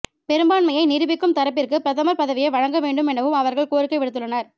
பெரும்பான்மையை நிரூபிக்கும் தரப்பிற்கு பிரதமர் பதவியை வழங்கவேண்டும் எனவும் அவர்கள் கோரிக்கை விடுத்துள்ளனர்